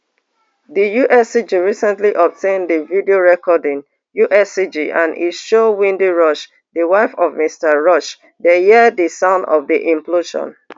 di uscg recently obtain di video recording uscg and e show wendy rush di wife of mr rush dey hear di sound of di implosion